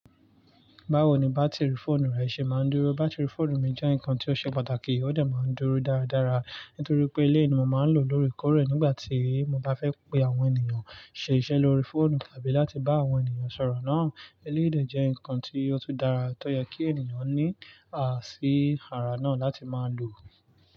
Báwo ni bátìrì fóònù rẹ ṣe máa ń dúró? Bátìrì fóònù mi jẹ́ nǹkan tí ó ṣe pàtàkì, ó dẹ̀ máa ń dúró dáradára, nítorí pé eleyii ni mo máa ń lò ó lóore kore nígbà tí mo bá fe pe àwọn ènìyàn, ṣe iṣẹ́ lórí fóònù tàbí láti bá àwọn ènìyàn sọ̀rọ̀ náà. Eleyii dé jẹ́ nǹkan tí ó tún dára, tó yẹ kí ènìyàn ní a sì ara náà láti máa lò ó.